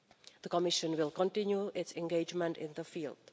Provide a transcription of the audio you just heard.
The Commission will continue its engagement in the